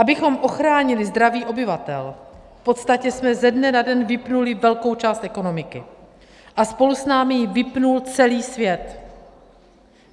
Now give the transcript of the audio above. Abychom ochránili zdraví obyvatel, v podstatě jsme ze dne na den vypnuli velkou část ekonomiky a spolu s námi ji vypnul celý svět.